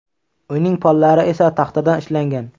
Uyning pollari esa taxtadan ishlangan.